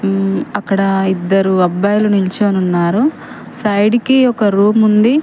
ఉమ్ అక్కడ ఇద్దరు అబ్బాయిలు నిల్చొని ఉన్నారు సైడ్ కి ఒక రూమ్ ఉంది.